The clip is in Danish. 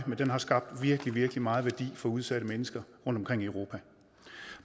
den har skabt virkelig virkelig meget værdi for udsatte mennesker rundt omkring i europa